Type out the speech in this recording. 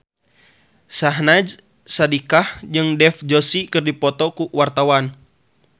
Syahnaz Sadiqah jeung Dev Joshi keur dipoto ku wartawan